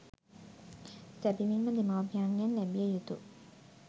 සැබැවින්ම දෙමාපියන්ගෙන් ලැබිය යුතු